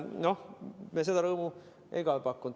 Noh, seda rõõmu me teile ka ei pakkunud.